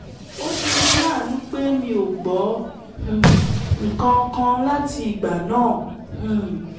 ó ṣeni láàánú pé mi ò gbọ́ um nǹkan kan láti igbà náà um